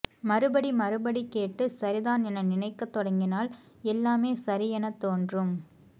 மறுபடி மறுபடி கேட்டு சரிதான் என நினைக்கத்தொடங்கினால் எல்லாமே சரி என தோன்றும்